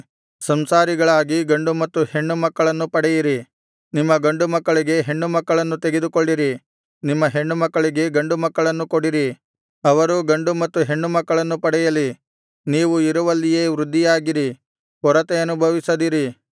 ಸಂಸಾರಿಗಳಾಗಿ ಗಂಡು ಮತ್ತು ಹೆಣ್ಣು ಮಕ್ಕಳನ್ನು ಪಡೆಯಿರಿ ನಿಮ್ಮ ಗಂಡುಮಕ್ಕಳಿಗೆ ಹೆಣ್ಣುಮಕ್ಕಳನ್ನು ತೆಗೆದುಕೊಳ್ಳಿರಿ ನಿಮ್ಮ ಹೆಣ್ಣುಮಕ್ಕಳಿಗೆ ಗಂಡುಮಕ್ಕಳನ್ನು ಕೊಡಿರಿ ಅವರೂ ಗಂಡು ಮತ್ತು ಹೆಣ್ಣು ಮಕ್ಕಳನ್ನು ಪಡೆಯಲಿ ನೀವು ಇರುವಲ್ಲಿಯೇ ವೃದ್ಧಿಯಾಗಿರಿ ಕೊರತೆ ಅನುಭವಿಸದಿರಿ